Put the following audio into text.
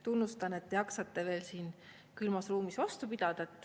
Tunnustan, et te jaksate veel siin külmas ruumis vastu pidada.